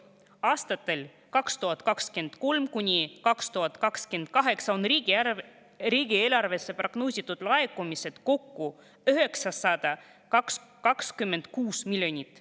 Aastatel 2023–2028 on riigieelarvesse prognoositud laekumisi kokku 926 miljonit.